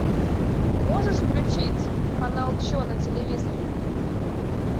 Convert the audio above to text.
можешь включить канал че на телевизоре